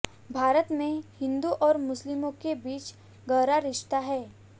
भारत में हिन्दू और मुस्लिमों के बीच गहरा रिश्ता है